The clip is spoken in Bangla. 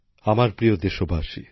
নতুনদিল্লি ৩০শে জুলাই ২০২৩